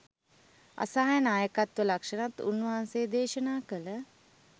අසහාය නායකත්ව ලක්ෂණත් උන්වහන්සේ දේශනා කළ